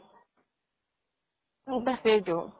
তাকেইটো